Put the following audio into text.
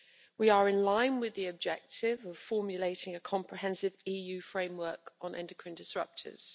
We are in line with the objective of formulating a comprehensive EU framework on endocrine disruptors.